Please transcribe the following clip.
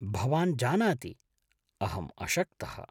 भवान् जानाति, अहम् अशक्तः।